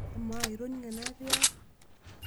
Amaa itoning'o enaatiaka?